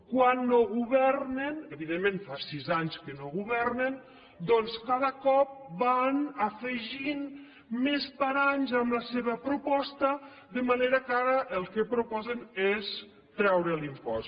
quan no governen evidentment fa sis anys que no governen doncs cada cop van afegint més paranys a la seva proposta de manera que ara el que proposen és treure l’impost